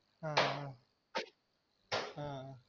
ஆஹ்